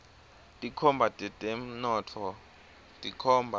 tinkhomba tetemnotfo tikhomba